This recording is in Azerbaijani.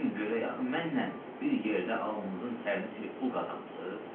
Deyin görək, axı mənlə bir yerdə alnınızın tərini silib pul qazanmısınız?